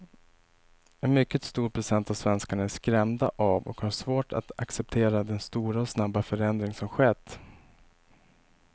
En mycket stor procent av svenskarna är skrämda av och har svårt att acceptera den stora och snabba förändring som skett.